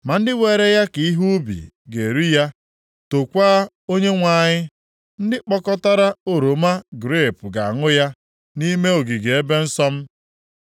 Ma ndị were ya ka ihe ubi ga-eri ya, tookwa Onyenwe anyị, ndị kpokọtara oroma grepu ga-aṅụ ya nʼime ogige ebe nsọ m.”